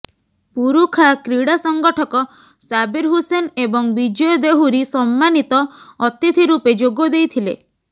ପୁରୁଖା କ୍ରୀଡ଼ା ସଂଗଠକ ସାବୀର ହୁସେନ ଏବଂ ବିଜୟ ଦେହୁରୀ ସମ୍ମାନିତ ଅତିଥି ରୂପେ ଯୋଗ ଦେଇଥିଲେ